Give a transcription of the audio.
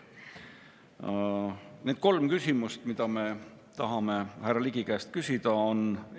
Need kolm küsimust, mida me tahame härra Ligi käest küsida, on järgmised.